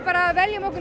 veljum okkur